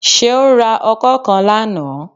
Seun ra Ọkọ́ kán lánàá.